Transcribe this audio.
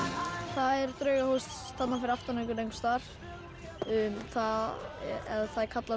það er draugahús fyrir aftan okkur einhvers staðar það er kallað